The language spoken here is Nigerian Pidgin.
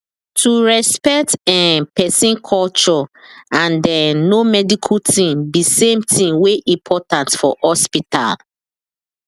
to respect um person culture and um know medical thing be same thing wey important for hospital